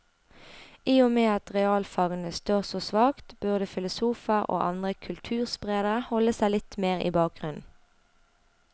I og med at realfagene står så svakt, burde filosofer og andre kulturspredere holde seg litt mer i bakgrunnen.